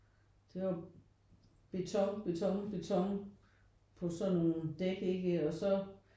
Det var beton beton beton på sådan nogle dæk ikke og så